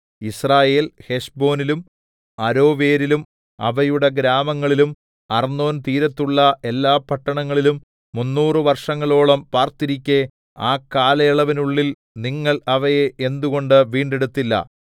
യിസ്രായേൽ ഹെശ്ബോനിലും അരോവേരിലും അവയുടെ ഗ്രാമങ്ങളിലും അർന്നോൻതീരത്തുള്ള എല്ലാ പട്ടണങ്ങളിലും മുന്നൂറു വർഷങ്ങളോളം പാർത്തിരിക്കെ ആ കാലയളവിനുള്ളിൽ നിങ്ങൾ അവയെ എന്തുകൊണ്ട് വീണ്ടെടുത്തില്ല